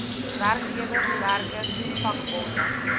werkgewers werkers vakbonde